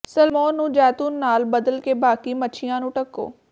salmon ਨੂੰ ਜੈਤੂਨ ਨਾਲ ਬਦਲ ਕੇ ਬਾਕੀ ਮੱਛੀਆਂ ਨੂੰ ਢੱਕੋ